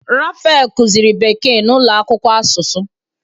Raphael kuziri bekee na ulo akwukwo asusu.